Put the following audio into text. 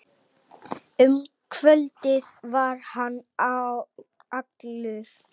Um kvöldið var hann allur.